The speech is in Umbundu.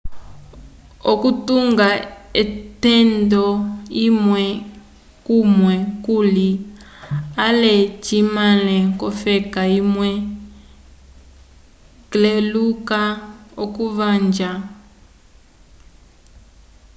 okutunga otenda imwe kumwe kuli ale cimeale kofeka imwe cleluka okuvanja